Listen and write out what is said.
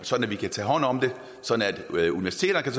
sådan at vi kan tage hånd om det og sådan at universiteterne